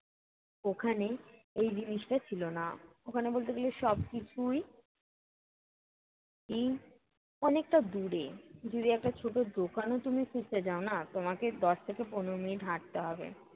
ওখানে এই জিনিসটা ছিলো না। ওখানে বলতে গেলে সবকিছুই কী অনেকটা দূরে। যদি একটা ছোটো দোকানও তুমি খুঁজতে যাওনা, তোমাকে দশ থেকে পনেরো মিনিট হাঁটতে হবে।